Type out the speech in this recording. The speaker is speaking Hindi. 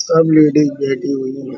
सब लेडीज बैठी हुई हैं।